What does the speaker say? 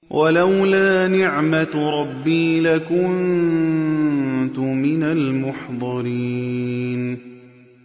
وَلَوْلَا نِعْمَةُ رَبِّي لَكُنتُ مِنَ الْمُحْضَرِينَ